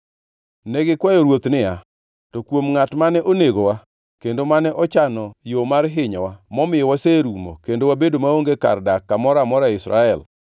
Ne gikwayo ruoth niya, “To kuom ngʼat mane onegowa kendo mane ochano yo mar hinyowa momiyo waserumo kendo wabedo maonge kar dak kamoro amora e Israel,